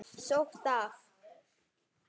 Sótt af